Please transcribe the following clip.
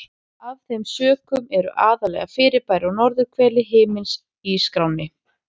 Af þeim sökum eru aðallega fyrirbæri á norðurhveli himins í skránni.